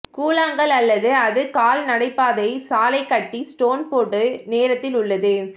கூழாங்கள் அல்லது அது கால் நடைப்பாதை சாலை கட்டி ஸ்டோன் போடு நேரத்தில் உள்ளது